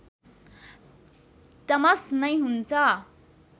टमस नै हुन्छ